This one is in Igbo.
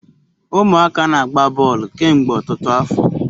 Umuaka na-agba boolu kemgbe otutu afo